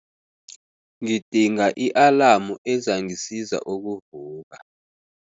Ngidinga i-alamu ezangisiza ukuvuka.